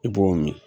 I b'o min